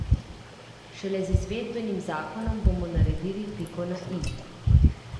Šele z izvedbenim zakonom bomo naredili piko na i.